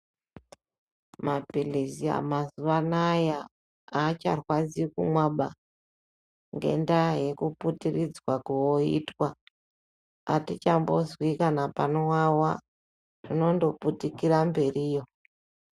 Maphirizi mazuva anaya hacharwadzi kumwaba ngendaa yekuputiridzwa kooitwa. Atichambozwi kana panovava zvinondoputikira mberiyo.